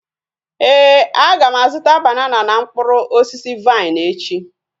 Éè, aga m azụta banana na mkpụrụ osisi vaịn echi